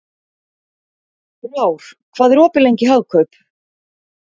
Frár, hvað er opið lengi í Hagkaup?